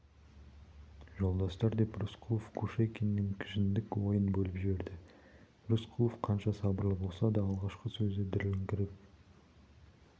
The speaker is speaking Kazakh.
жолдастар деп рысқұлов кушекиннің кіжіншек ойын бөліп жіберді рысқұлов қанша сабырлы болса да алғашқы сөзі дірілдеңкіреп